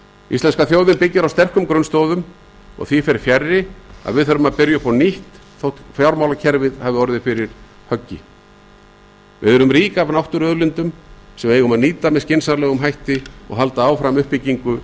íslenska þjóðin byggir á sterkum grunnstoðum og því fer fjarri að við þurfum að byrja upp á nýtt þótt fjármálakerfið hafi orðið fyrir höggi við erum rík af náttúruauðlindum sem við eigum að nýta með skynsamlegum hætti og halda áfram uppbyggingu